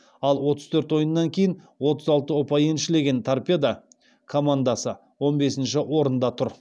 ал отыз төрт ойыннан кейін отыз алты ұпай еншілеген торпедо командасы он бесінші орында тұр